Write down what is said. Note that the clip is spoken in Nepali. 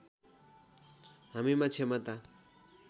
हामीमा क्षमता